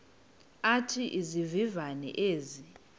athi izivivane ezi